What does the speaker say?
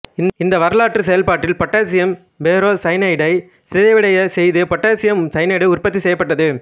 இந்த வரலாற்று செயல்பாட்டில் பொட்டாசியம் பெரோ சயனைடை சிதைவடையச் செய்து பொட்டாசியம் சயனைடு உற்பத்தி செய்யப்பட்டது